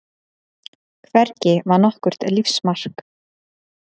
Hvergi var nokkurt lífsmark.